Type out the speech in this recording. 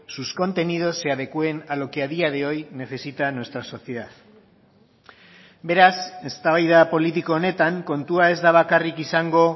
sus contenidos se adecúen a lo que a día de hoy necesita nuestra sociedad beraz eztabaida politiko honetan kontua ez da bakarrik izango